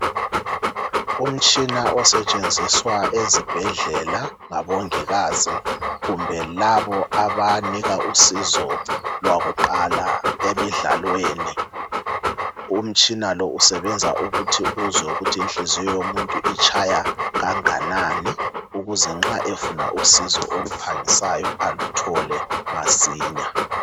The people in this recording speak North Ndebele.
Umtshina osetshenziswa ezibhedlela ngabomongikazi kumbe laba abanika usizo lwakuqala emidlalweni umtshina lo usebenza ukuthi uzwe ukuthi inhliziyo yomuntu itshaya kanganani ukuze nxa efuna usizo oluphangisayo alutho masinya